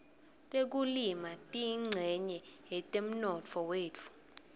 tekulima tiyincenye yetemnotfo wetfu